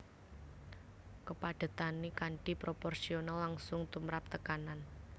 Kepadhetané kanthi proporsional langsung tumrap tekanan